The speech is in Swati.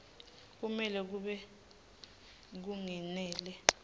kumele kube kungenela